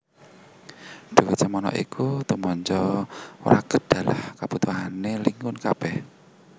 Dhuwit semana iku tumanja wragad dalah kabutuhané Legiun kabèh